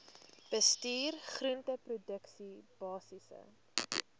bestuur groenteproduksie basiese